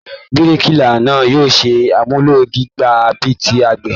Bíríkìlá náà yóò ṣe àmúlò jígà bíi ti àgbẹ̀